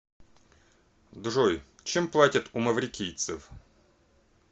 джой чем платят у маврикийцев